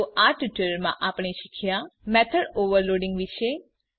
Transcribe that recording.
તો આ ટ્યુટોરીયલમાં આપણે શીખ્યા મેથોડ ઓવરલોડિંગ વિશે